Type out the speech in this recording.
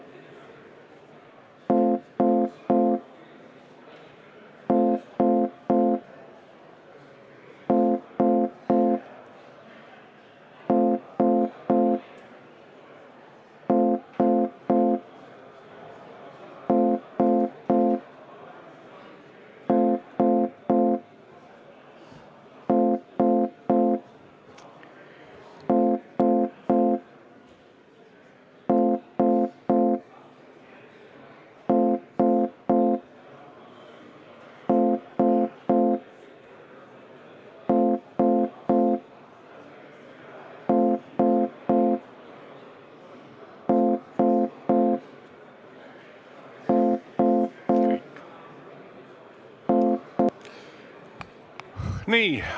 Nii.